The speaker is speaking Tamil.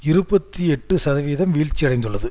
இருபத்தி எட்டு சதவீதம் வீழ்ச்சியடைந்துள்ளது